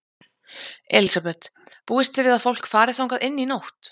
Elísabet: Búist þið við að fólk fari þangað inn í nótt?